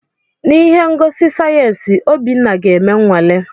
N'ihe ngosi sayensị, Obinna ga-eme nnwale.